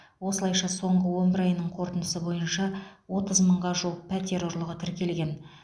осылайша соңғы он бір айының қорытындысы бойынша отыз мыңға жуық пәтер ұрлығы тіркелген